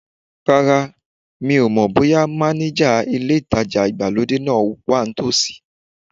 Rárá, mi ò mọ̀ bóyá mánéjà ilé ìtajà ìgbàlódé náà wa ní tòsí